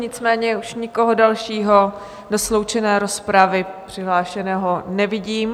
Nicméně už nikoho dalšího do sloučené rozpravy přihlášeného nevidím.